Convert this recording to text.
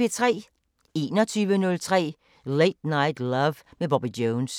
21:03: Late Night Love med Bobby Jones